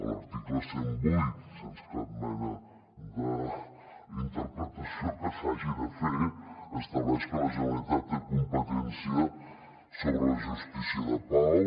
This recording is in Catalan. l’article cent i vuit sense cap mena d’interpretació que se n’hagi de fer estableix que la generalitat té competència sobre la justícia de pau